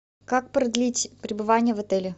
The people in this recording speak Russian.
как продлить пребывание в отеле